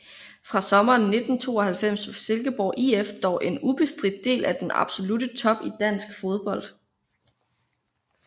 Fra sommeren 1992 var Silkeborg IF dog en ubestridt del af den absolutte top i dansk fodbold